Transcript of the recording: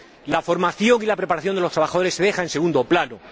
La formación y la preparación de los trabajadores se deja en segundo plano.